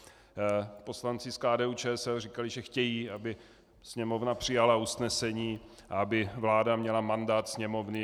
Poslanci z KDU-ČSL říkali, že chtějí, aby Sněmovna přijala usnesení a aby vláda měla mandát Sněmovny.